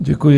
Děkuji.